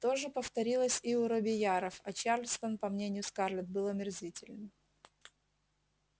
то же повторилось и у робийяров а чарльстон по мнению скарлетт был омерзителен